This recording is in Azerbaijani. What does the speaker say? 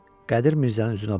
Qədir Mirzənin üzünə baxdı.